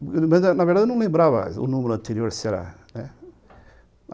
Na verdade, eu não lembrava o número anterior, se era